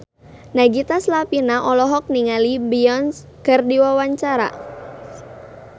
Nagita Slavina olohok ningali Beyonce keur diwawancara